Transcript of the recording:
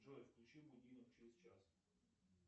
джой включи будильник через час